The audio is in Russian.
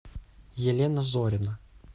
елена зорина